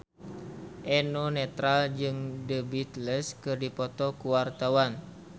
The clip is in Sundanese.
Eno Netral jeung The Beatles keur dipoto ku wartawan